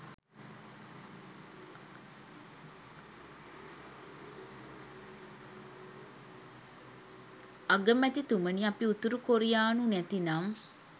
අගමැතිතුමනි අපි උතුරු කොරියානු නැතිනම්